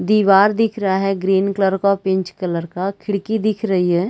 दिवार दिख रहा है ग्रीन कलर का और पिंच कलर का खिड़की दिख रही है।